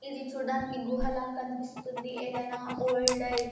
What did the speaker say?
ఇది చూడ్డానికి గుహ ల కనిపిస్తుంది ఎది ఐనా ఓల్డ్ --